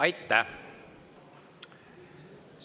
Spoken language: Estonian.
Aitäh!